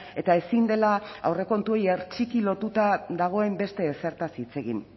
eta ezin dela aurrekontuei hertsiki lotuta dagoen beste ezertaz hitz egin